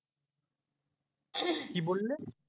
কি বললে?